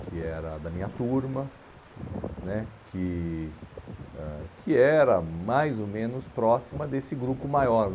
que era da minha turma né, que ãh que era mais ou menos próxima desse grupo maior.